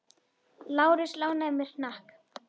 Lárus lánaði mér hnakk.